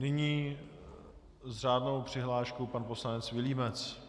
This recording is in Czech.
Nyní s řádnou přihláškou pan poslanec Vilímec.